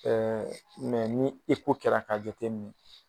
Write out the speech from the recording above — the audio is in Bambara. Ɛɛ ni kɛ la ka jatemin.